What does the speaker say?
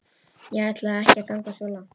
Ég ætlaði ekki að ganga svo langt.